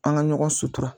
An ka ɲɔgɔn sutura